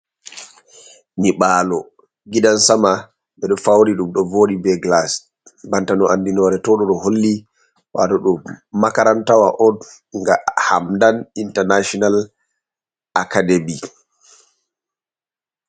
Nyibaalo gidan sama ɓeɗo fauri ɗum ɗo voɗi ɓe glass banta no andi nore to ɗo, ɗo holli wato ɗou makarantawa on ga Hamdan International Academy.